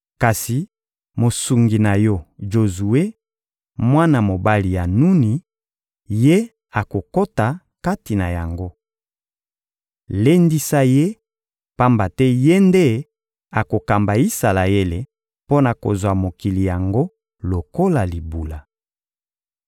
Kasi mosungi na yo Jozue, mwana mobali ya Nuni, ye akokota kati na yango. Lendisa ye, pamba te ye nde akokamba Isalaele mpo na kozwa mokili yango lokola libula.